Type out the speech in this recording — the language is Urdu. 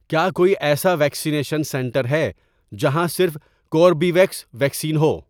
کیا کوئی ایسا ویکسینیشن سنٹر ہے جہاں صرف کوربیویکس ویکسین ہو؟